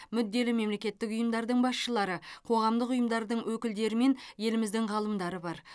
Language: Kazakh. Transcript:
мүдделі мемлекеттік ұйымдардың басшылары қоғамдық ұйымдардың өкілдері мен еліміздің ғалымдары бар